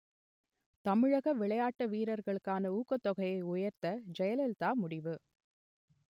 தமிழக விளையாட்டு வீரர்களுக்கான ஊக்கத் தொகையை உயர்த்த ஜெயலலிதா முடிவு